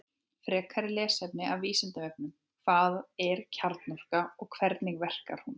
Frekara lesefni af Vísindavefnum Hvað er kjarnorka og hvernig verkar hún?